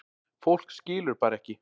Fólk skilur bara ekki